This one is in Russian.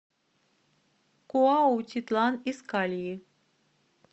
куаутитлан искальи